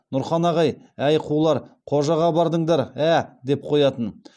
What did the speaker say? нұрхан ағай әй қулар қожаға бардыңдар ә ә деп қоятын